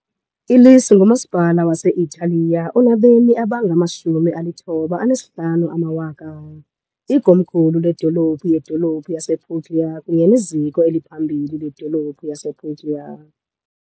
Lecce ngumasipala wase-Italiya onabemi abangama , ikomkhulu ledolophu yedolophu yasePuglia kunye neziko eliphambili ledolophu yasePuglia.